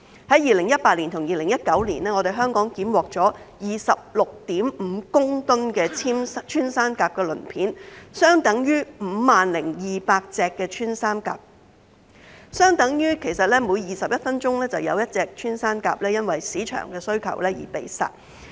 在2018年和2019年，香港檢獲了 26.5 公噸穿山甲鱗片，相等於 50,200 隻穿山甲，即每21分鐘就有一隻穿山甲因市場需求而被殺。